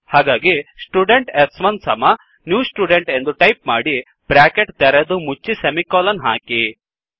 ಹಾಗಾಗಿ ಸ್ಟುಡೆಂಟ್ ಸ್1 ಸಮ ನ್ಯೂ ಸ್ಟುಡೆಂಟ್ ಎಂದು ಟೈಪ್ ಮಾಡಿ ಬ್ರ್ಯಾಕೆಟ್ ತೆರೆದು ಮುಚ್ಚಿ ಸೆಮಿಕೋಲನ್ ಹಾಕಿ